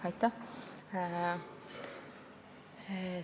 Aitäh!